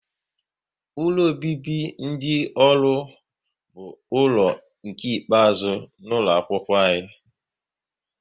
Ụlọ obibi dị ọrụ bụ ụlọ nke ikpeazụ n'ụlọ akwụkwọ m